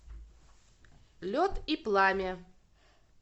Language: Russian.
лед и пламя